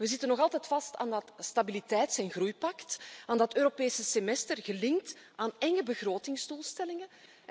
We zitten nog altijd vast aan dat stabiliteits en groeipact, aan dat Europese semester, gelinkt aan enge begrotingsdoelstellingen.